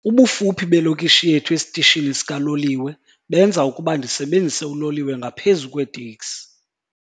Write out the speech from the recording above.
Ubufuphi belokishi yethu esitishini sikaloliwe benza ukuba ndisebenzise uloliwe ngaphezu kweeteksi.